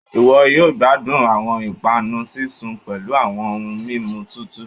iwọ yoo gbadun awọn ipanu sisun pẹlu awọn ohun mimu tutu.